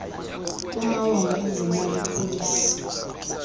kumawonga ezemali policy